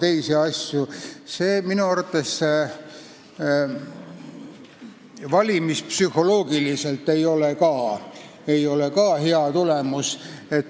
See ei ole minu arvates valimispsühholoogiliselt hea tulemus.